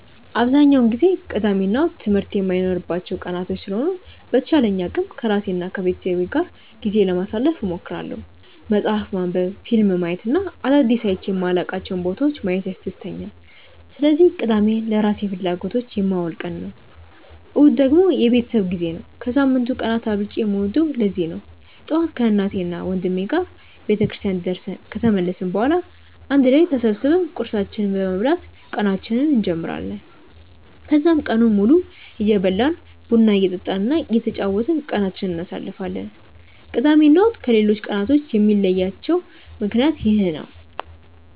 አብዛኛውን ጊዜ ቅዳሜ እና እሁድ ትምህርት የማይኖርባቸው ቀናቶች ስለሆኑ በተቻለኝ አቅም ከራሴ እና ከቤተሰቤ ጋር ጊዜ ለማሳለፍ እሞክራለሁ። መፅሀፍ ማንበብ፣ ፊልም ማየት እና አዳዲስ አይቼ የማላውቃቸውን ቦታዎች ማየት ያስደስተኛል። ስለዚህ ቅዳሜን ለራሴ ፍላጎቶች የማውለው ቀን ነው። እሁድ ደግሞ የቤተሰብ ጊዜ ነው። ከሳምንቱ ቀናት አብልጬ የምወደውም ለዚህ ነው። ጠዋት ከእናቴና ወንድሜ ጋር ቤተክርስቲያን ደርሰን ከተመለስን በኋላ አንድ ላይ ተሰብስበን ቁርሳችንን በመብላት ቀናችንን እንጀምራለን። ከዛም ቀኑን ሙሉ እየበላን፣ ቡና እየጠጣን እና እየተጫወትን ቀናችንን እናሳልፋለን። ቅዳሜ እና እሁድን ከሌሎቹ ቀናቶች የሚለያቸው ምክንያት ይህ ነው።